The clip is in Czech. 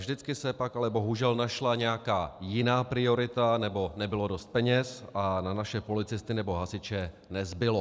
Vždycky se pak ale bohužel našla nějaká jiná priorita nebo nebylo dost peněz a na naše policisty nebo hasiče nezbylo.